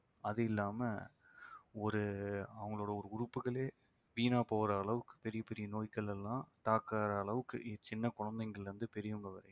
அது இல்லாம ஒரு அவங்களோட ஒரு உறுப்புகளே வீணாப் போற அளவுக்கு பெரிய பெரிய நோய்கள் எல்லாம் தாக்கற அளவுக்கு சின்ன குழந்தைங்கள்ல இருந்து பெரியவங்க வரையும்